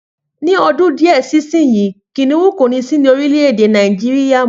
Ni ọdún díẹ̀ sísìn yìí, Kìnìún kò ní sí ní orílè èdè Nàìjíríà mọ́